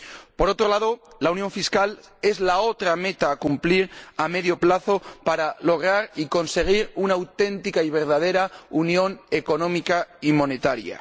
Por otro lado, la unión fiscal es la otra meta que ha de cumplirse a medio plazo, para lograr y conseguir una auténtica y verdadera unión económica y monetaria.